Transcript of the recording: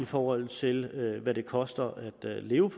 forhold til hvad det koster at leve